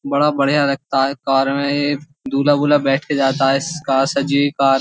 बड़ा बढ़िया लगता है। कार में एक दूल्हा बुल्हा बैठ के जाता है। श्श्श कार सजी कार --